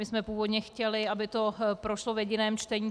My jsme původně chtěli, aby to prošlo v jediném čtení.